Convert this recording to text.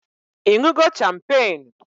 Ịñụgo champagne?